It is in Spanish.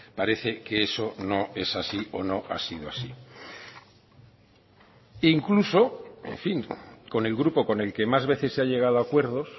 parece que eso no es así o no ha sido así incluso en fin con el grupo con el que más veces se ha llegado a acuerdos